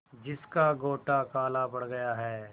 जिसका गोटा काला पड़ गया है